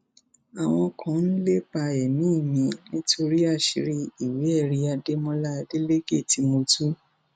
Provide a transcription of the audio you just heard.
àwọn kan ń lépa ẹmí mi nítorí àṣírí ìwéẹrí adémọlá adeleke tí mo tú